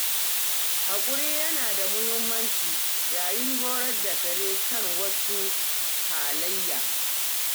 Haƙuri yana da mahimmanci yayin horar da kare kan wasu halaye.